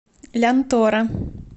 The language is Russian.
лянтора